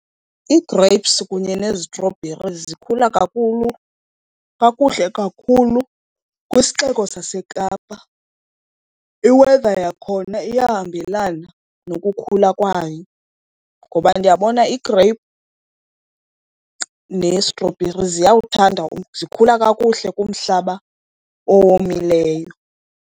Ii-grapes kunye nezitrobherizi zikhula kakhulu, kakuhle kakhulu kwisixeko saseKapa. I-weather yakhona iyahambelana nokukhula kwayo, ngoba ndiyabona igreyiphu nestrobheri ziyawuthanda , zikhula kakuhle kumhlaba owomileyo.